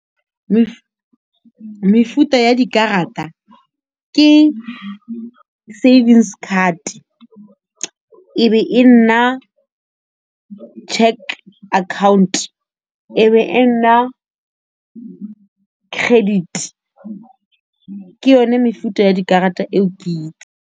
Mefuta ya dikarata ke savings card e be e nna cheque account e be e nna credit ke yone mefuta ya dikarata eo ke itseng.